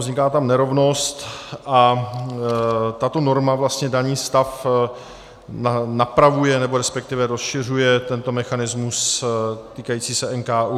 Vzniká tam nerovnost a tato norma daný stav napravuje, nebo respektive rozšiřuje tento mechanismus týkající se NKÚ.